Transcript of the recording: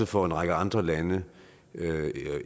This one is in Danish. for en række andre lande